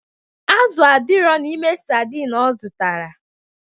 Azụ adirọ n'ime sardin ọ zụtara.